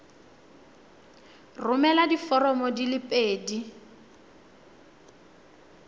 romela diforomo di le pedi